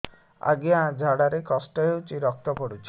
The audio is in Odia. ଅଜ୍ଞା ଝାଡା ରେ କଷ୍ଟ ହଉଚି ରକ୍ତ ପଡୁଛି